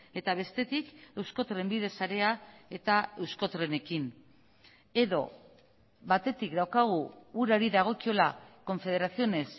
eta bestetik eusko trenbide sarea eta euskotrenekin edo batetik daukagu urari dagokiola confederaciones